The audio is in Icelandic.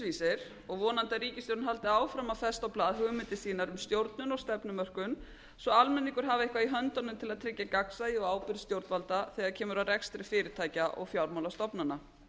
vísir og er vonandi að ríkisstjórnin haldi áfram að festa á blað hugmyndir sínar um stjórnun og stefnumörkun svo almenningur hafi eitthvað í höndunum til að tryggja gagnsæi og ábyrgð stjórnvalda þegar kemur að rekstri fyrirtækja og fjármálastofnana